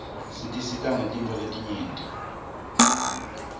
tisisita rreqetintfo letiruyenti